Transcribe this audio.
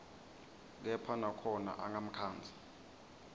kepha nakhona angamkhandzi